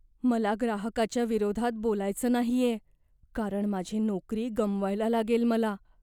मला ग्राहकाच्या विरोधात बोलायचं नाहीये कारण माझी नोकरी गमवायला लागेल मला.